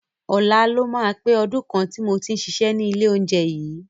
Ọ̀la ló máa pé ọdún kan tí mo ti ń ṣiṣẹ́ ní ilé oúnjẹ yìí.